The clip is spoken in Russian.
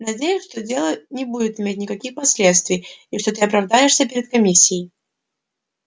надеюсь что дело не будет иметь никаких последствий и что ты оправдаешься перед комиссией